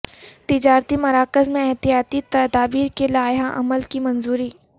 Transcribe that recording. تجارتی مراکز میں احتیاطی تدابیر کے لائحہ عمل کی منظوری